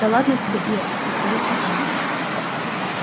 да ладно тебе ир веселится он